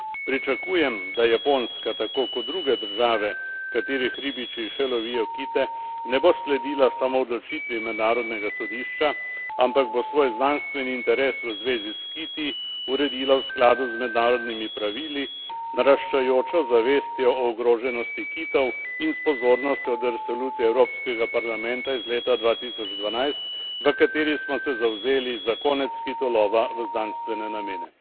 Pričakujem, da Japonska, tako kot druge države, katerih ribiči še lovijo kite, ne bo sledila samo odločitvi Mednarodnega sodišča, ampak bo svoj znanstveni interes v zvezi s kiti uredila v skladu z mednarodnimi pravili, naraščajočo zavestjo o ogroženosti kitov in s pozornostjo do resolucije Evropskega parlamenta iz leta 2012, v kateri smo se zavzeli za konec kitolova v znanstvene namene.